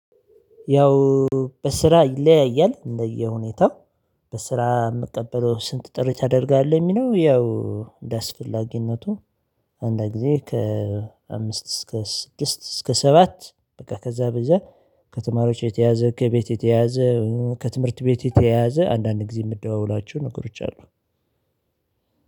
ያው በስራ ይለያያል እንደየሁኔታው በስራ የምቀበለው ስንት ጥሪ ታደርጋለሁ የሚለው ያው እንደ አስፈላጊነቱ አንድ ጊዜ ከአምስት እስከ ስድስት እስከ ሰባት በቃ ከዛ ቢበዛ ከተማሪዎች የተያዘ ከቤት የተያዘ ከትምህርት ቤት የተያዘ አንዳንድ ጊዜ የምደዋወላቸው ነገሮች አሉ።